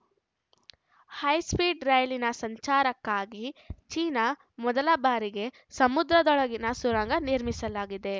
high speed ರೈಲಿನ ಸಂಚಾರಕ್ಕಾಗಿ China ಮೊದಲ ಬಾರಿಗೆ ಸಮುದ್ರದೊಳಗಿನ ಸುರಂಗ ನಿರ್ಮಿಸಲಾಗಿದೆ